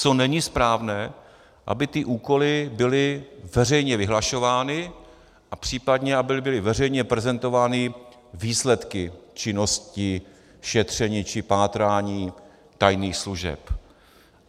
Co není správné, aby ty úkoly byly veřejně vyhlašovány a případně aby byly veřejně prezentovány výsledky činnosti, šetření či pátrání tajných služeb.